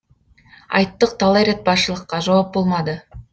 айттық талай рет басшылыққа жауап болмады